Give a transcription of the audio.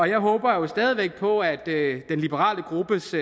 jeg håber jo stadig væk på at den liberale gruppes